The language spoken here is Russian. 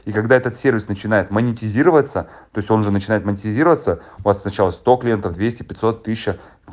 и когда этот сервис начинает монетизироваться то есть он уже начинает монетизироваться у вас сначала сто клиентов двести пятьсот тысяча